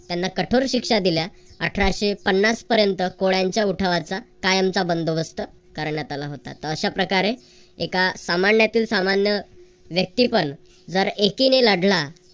त्यांना कठोर शिक्षा दिल्या. अठराशे पन्नास पर्यंत कोळ्यांच्या उठावाचा कायमचा बंदोबस्त करण्यात आला होता. तर अशा प्रकारे एका सामान्यातील सामान्य व्यक्तीपण एकीने लढला